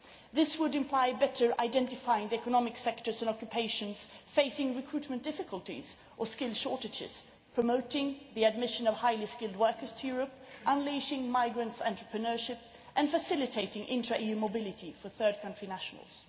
This would imply better identifying the economic sectors and occupations facing recruitment difficulties or skills shortages, promoting the admission of highly skilled workers to Europe, unleashing migrants' entrepreneurship, and facilitating intra EU mobility for third country nationals.